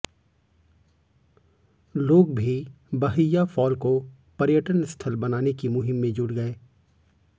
लोग भी बहैया फॉल को पर्यटन स्थल बनाने की मुहिम में जुट गए